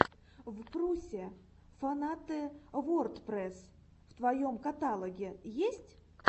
впрусе фанаты вордпрэсс в твоем каталоге есть